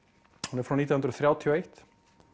hún er frá nítján hundruð þrjátíu og eitt